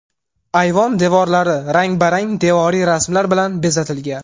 Ayvon devorlari rang–barang devoriy rasmlar bilan bezatilgan.